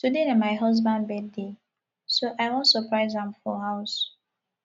today na my husband birthday so i wan surprise am for house